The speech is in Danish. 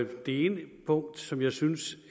det ene punkt som jeg synes